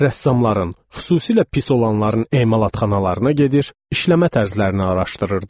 Rəssamların, xüsusilə pis olanların emalatxanalarına gedir, işləmə tərzlərini araşdırırdım.